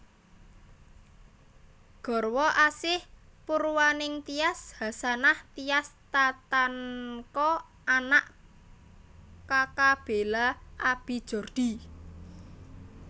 Garwa Asih Purwaningtyas Hasanah Tias Tatanka Anak Kaka Bela Abi Jordi